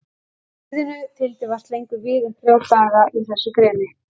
stríðinu þyldi vart lengur við en þrjá daga í þessu greni.